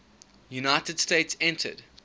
united states entered